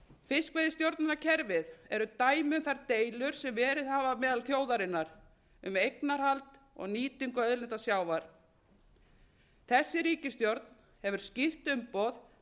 fiskveiðistjórnarkerfið er dæmi um þær deilur sem verið hafa meðal þjóðarinnar um eignarhald og nýtingu auðlinda sjávar þessi ríkisstjórn hefur skýrt umboð